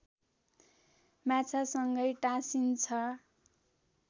माछासँगै टाँसिन्छ